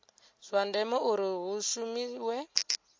zwa ndeme uri hu shumiwe